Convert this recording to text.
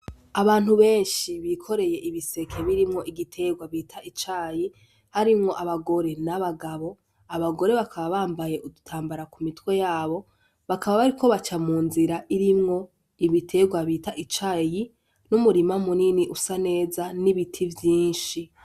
Abantu benshi bikoreye ibiseke birimwo igiterwa bita icayi , harimwo abagore n'abagabo , abagore bakaba bambaye ibitambara ku mitwe yabo , bakaba bariko baca mu nzira irimwo ibiterwa bita icayi , n'umurima usa neza, n'ibiti vyinshi.